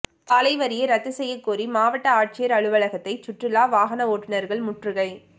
சாலை வரியை ரத்து செய்யக் கோரி மாவட்ட ஆட்சியா் அலுவலகத்தை சுற்றுலா வாகன ஓட்டுநா்கள் முற்றுகை